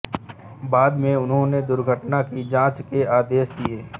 बाद में उन्होंने दुर्घटना की जाँच के आदेश दिये